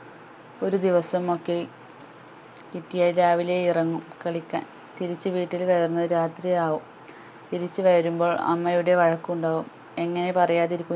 ഒരു ദിവസം ഒക്കെ കിട്ടിയാൽ രാവിലെ ഇറങ്ങും കളിക്കാൻ തിരിച്ചു വീട്ടിൽ കയറുന്നതു രാത്രി ആകും തിരിച്ചു വരുമ്പോൾ അമ്മയുടേ വഴക്കു ഉണ്ടാകും എങ്ങനെ പറയാതിരിക്കും